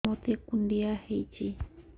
ମୋତେ କୁଣ୍ଡିଆ ହେଇଚି